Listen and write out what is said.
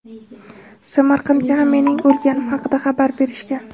Samarqandga ham mening o‘lganim haqida xabar berishgan.